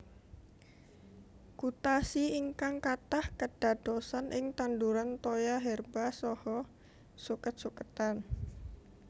Gutasi ingkang katah kèdadosan ing tanduran toya herba saha sukèt sukètan